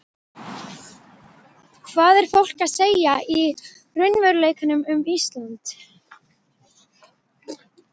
Hvað er fólk að segja í raunveruleikanum um Ísland?